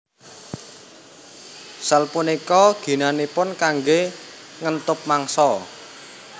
Sel punika ginanipun kanggé ngentup mangsa